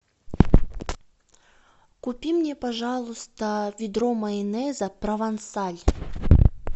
купи мне пожалуйста ведро майонеза провансаль